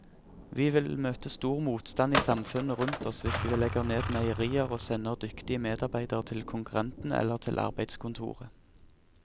Vi vil møte stor motstand i samfunnet rundt oss hvis vi legger ned meierier og sender dyktige medarbeidere til konkurrentene eller til arbeidskontoret.